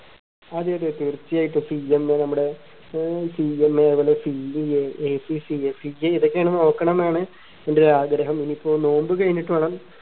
അതെ അതെ തീർച്ചയായിട്ടും CMA നമ്മടെ ഏർ CMA അതുപോലെ CAACCA ഇതൊക്കെ നോക്കണംന്നാണ് ഇൻറെ ഒരു ആഗ്രഹം ഇനിയിപ്പോ നോമ്പ് കഴിഞ്ഞിട്ട് വേണം